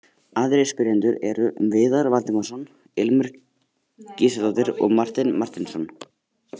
Aðrir spyrjendur eru: Viðar Valdimarsson, Ilmur Gísladóttir og Marteinn Marteinsson.